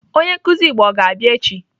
Onye nkụzi Igbo ọ ga-abịa echi?